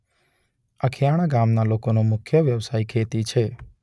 અખીયાણા ગામના લોકોનો મુખ્ય વ્યવસાય ખેતી છે.